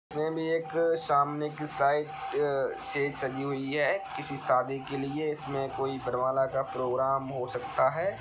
इसमे भी एक सामने की साइड से सजी हुई है किसी शादी के लिए घर वाला का प्रोग्राम हो सकता है।